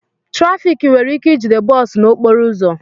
Trafik were ike ijide bọọ su n'okporo uzu